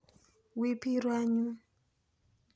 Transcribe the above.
Wi pi ru anyun.